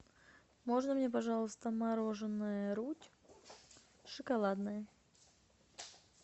можно мне пожалуйста мороженое рудь шоколадное